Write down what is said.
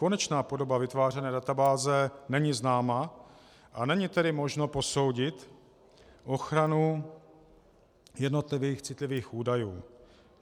Konečná podoba vytvářené databáze není známa, a není tedy možno posoudit ochranu jednotlivých citlivých údajů.